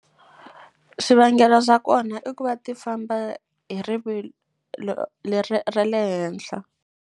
Swivangelo swa kona i ku va ti famba hi rivilo leri ra le henhla.